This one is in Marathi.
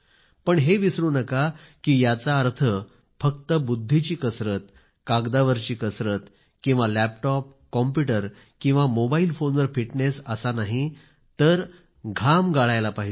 पण हे विसरू नका कि याचा अर्थ फक्त बुद्धीची कसरत कागदावरची कसरत किंवा लॅपटॉप कॉम्प्युटर किंवा मोबाइल फोनवर फिटनेस असा नाही तर घाम गाळायला पाहिजे